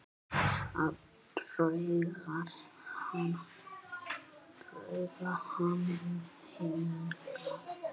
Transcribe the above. Að draga hann hingað.